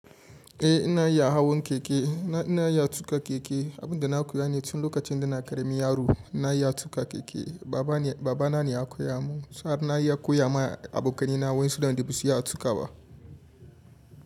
Eh ina iya hawan keke, ina iya tuƙa keke. Abin da na koya ne tun lokacin da ina ƙaramin yaro ina iya tuƙa keke. Baba, Baba na ne ya koya mun sannan ina iya koya ma abokanai na wadanda basu iya tuƙawa ba.